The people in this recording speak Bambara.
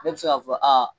Ne bɛ se k'a fɔ aa